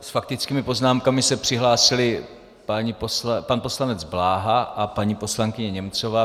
S faktickými poznámkami se přihlásili pan poslanec Bláha a paní poslankyně Němcová.